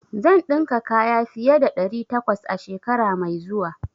Zan dinka kaya fiye da ɗari takwas a shekara mai zuwa.